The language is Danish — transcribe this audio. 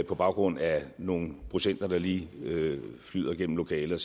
på baggrund af nogle procenter der lige flyder gennem lokalet